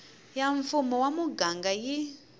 ya mfumo wa muganga yi